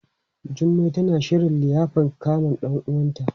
Jummai tana shirin liyafan kamun ɗan uwanta.